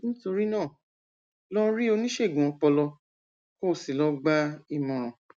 nítorí náà lọ rí oníṣègùn ọpọlọ kó o sì lọ gba ìmọràn